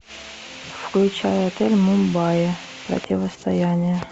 включай отель мумбаи противостояние